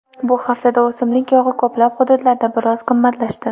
Bu haftada o‘simlik yog‘i ko‘plab hududlarda biroz qimmatlashdi.